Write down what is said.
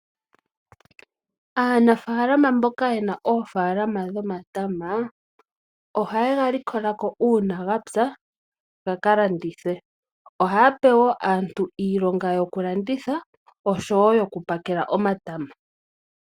Aanafalama mboka yena oofalama dhomatamo ohaye galikolako uuna gapya gaka landithwe . Ohaga pewo aantu iilonga yokulanditha oshowo yoku pakela omatama.